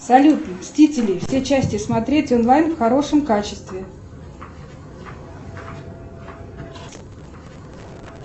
салют мстители все части смотреть онлайн в хорошем качестве